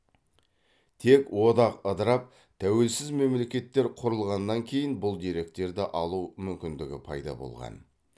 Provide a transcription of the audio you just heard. тек одақ ыдырап тәуелсіз мемлекеттер құрылғаннан кейін бұл деректерді алу мүмкіндігі пайда болған